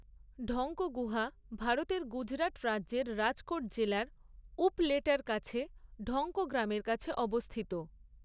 ঢঙ্ক গুহা ভারতের গুজরাট রাজ্যের রাজকোট জেলার উপলেটার কাছে ঢঙ্ক গ্রামের কাছে অবস্থিত।